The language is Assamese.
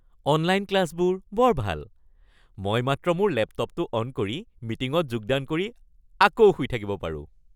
অনলাইন ক্লাছবোৰ বৰ ভাল। মই মাত্ৰ মোৰ লেপটপটো অন কৰি, মিটিঙত যোগদান কৰি আকৌ শুই থাকিব পাৰোঁ।